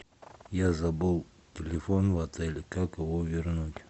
я забыл телефон в отеле как его вернуть